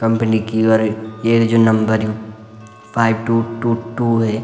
कंपनी की और यु ये जो नंबर यु फाइव टू टू टू है।